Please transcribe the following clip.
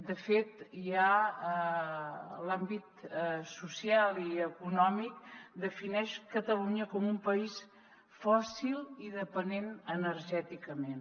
de fet ja l’àmbit social i econòmic defineix catalunya com un país fòssil i dependent energèticament